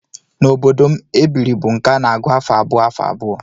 N'obodo m, ebiri bụ nke a na-agụ afọ abụọ afọ abụọ